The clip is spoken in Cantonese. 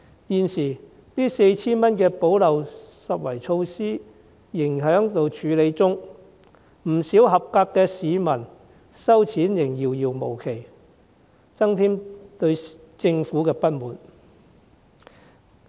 現時，這 4,000 元的補漏拾遺措施仍在處理中，不少合資格的市民收錢仍遙遙無期，徒添對政府的不滿。